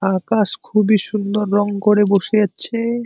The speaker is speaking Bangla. আকাশ খুবই সুন্দর রং করে বসে আছে।